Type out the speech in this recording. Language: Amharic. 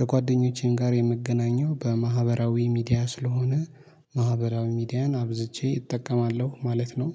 ከጓደኞቼም ጋር የምገናኘው በማህበራዊ ሚዲያ ስለሆነ። ማህበራዊ ሚዲያን አብዝቼ እጠቀማለሁ ማለት ነው።